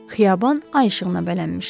Xiyaban ay işığına bələnmişdi.